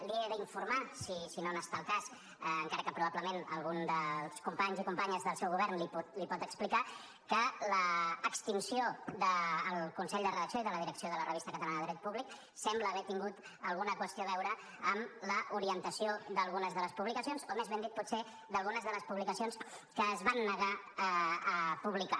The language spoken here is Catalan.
l’he d’informar si no n’està al cas encara que probablement algun dels companys i companyes del seu govern li ho pot explicar que l’extinció del consell de redacció i de la direcció de la revista catalana de dret públic sembla haver tingut alguna qüestió a veure amb l’orientació d’algunes de les publicacions o més ben dit potser d’algunes de les publicacions que es van negar a publicar